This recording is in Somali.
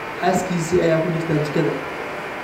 Xaaskiisii ​​ayaa ku jirta jikada